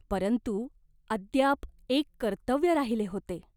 परंतु अद्याप एक कर्तव्य राहिले होते.